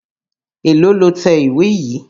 Èlòó lo tẹ ìwé yìí?